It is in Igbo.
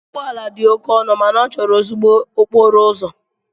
Ụgbọ ala dị oke ọnụ ma ọ chọrọ ezigbo okporo ụzọ.